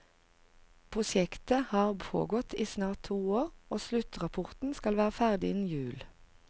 Prosjektet har pågått i snart to år, og sluttrapporten skal være ferdig innen jul.